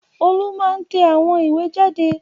Olú máa ń tẹ àwọn ìwé jáde.